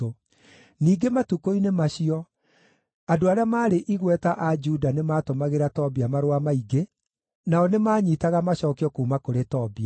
Ningĩ matukũ-inĩ macio, andũ arĩa maarĩ igweta a Juda nĩmatũmagĩra Tobia marũa maingĩ, nao nĩmanyiitaga macookio kuuma kũrĩ Tobia.